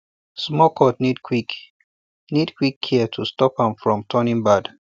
small cut need quick need quick care to stop am from turning bad